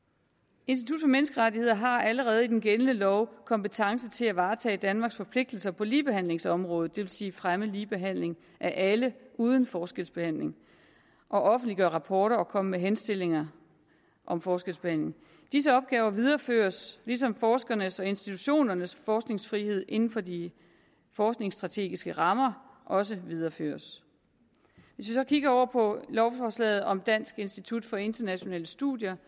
institut for menneskerettigheder har allerede i den gældende lov kompetence til at varetage danmarks forpligtelser på ligebehandlingsområdet det vil sige at fremme ligebehandlingen af alle uden forskelsbehandling at offentliggøre rapporter og at komme med henstillinger om forskelsbehandling disse opgaver videreføres ligesom forskernes og institutionernes forskningsfrihed inden for de forskningsstrategiske rammer også videreføres hvis vi så kigger på lovforslaget om dansk institut for internationale studier